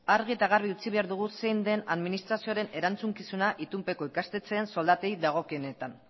argi eta garbi utzi behar dugu zein den administrazioaren erantzukizuna itunpeko ikastetxean soldatei dagokienetan